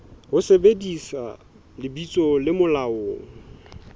ho sebedisa lebitso le molaong